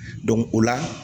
o la